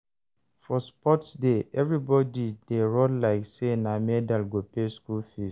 For sports day, everybody dey run like say na the medal go pay school fees.